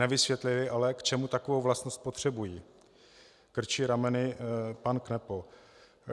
Nevysvětlili ale, k čemu takovou vlastnost potřebují, krčí rameny pan Kneppo.